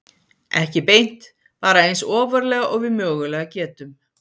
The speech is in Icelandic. Ekki beint, bara eins ofarlega og við mögulega getum.